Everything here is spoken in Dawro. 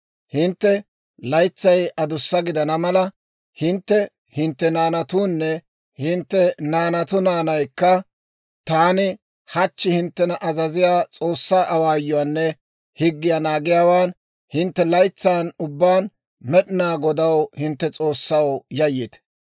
Hintte laytsay adussa gidana mala, hintte, hintte naanatuunne hintte naanatu naanaykka taani hachchi hinttena azaziyaa S'oossaa awaayuwaanne higgiyaa naagiyaawaan hintte laytsan ubbaan Med'inaa Godaw, hintte S'oossaw yayyite.